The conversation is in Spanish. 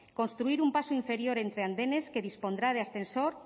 construir un paso inferior entre andenes que dispondrá de ascensor